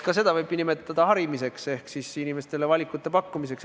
Ka seda võib nimetada harimiseks ehk siis inimestele valikute pakkumiseks.